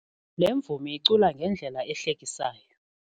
Le mvumi icula ngendlela ehlekisayo.